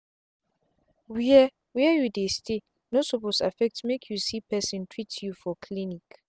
where where you dey stay no suppose affect make you see person treat you for clinic.